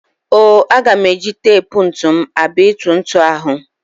O-o, aga m eji tep ntụ m abịa ịtụ ntụ ahụ.